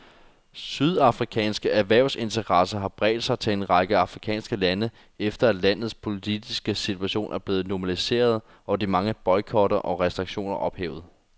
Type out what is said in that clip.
Sydafrikanske erhvervsinteresser har bredt sig til en række afrikanske lande, efter at landets politiske situation er blevet normaliseret og de mange boykotter og restriktioner ophævet.